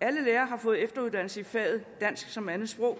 alle lærere har fået efteruddannelse i faget dansk som andetsprog